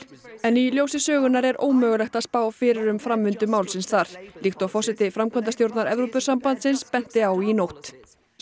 en í ljósi sögunnar er ómögulegt að spá fyrir um framvindu málsins þar líkt og forseti framkvæmdastjórnar Evrópusambandsins benti á í nótt